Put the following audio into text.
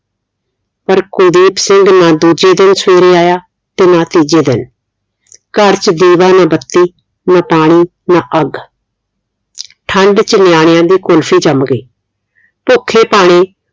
ਪਰ ਕੁਲਦੀਪ ਸਿੰਘ ਨਾ ਦੂਜੇ ਦਿਨ ਸਵੇਰੇ ਆਇਆ ਤੇ ਨਾ ਤੀਜੇ ਦਿਨ ਘਰ ਚ ਦੀਵਾ ਨਾ ਬੱਤੀ ਨਾ ਪਾਣੀ ਨਾ ਅੱਗ ਠੰਡ ਚ ਨਿਆਣਿਆਂ ਦੀ ਕੁਲਫੀ ਜਮ ਗਈ ਭੁੱਖੇ ਪਾਣੀ